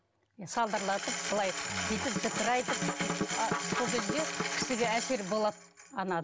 салдырлатып былай бүйтіп зікір айтып сол кезде кісіге әсері болады